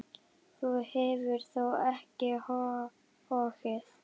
Þú hefur þó ekki hoggið?